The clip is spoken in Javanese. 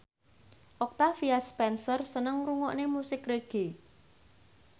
Octavia Spencer seneng ngrungokne musik reggae